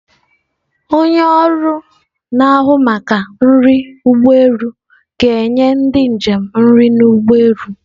Onye ọrụ na-ahụ maka nri ụgbọ elu ga-enye ndị njem nri n'ụgbọelu.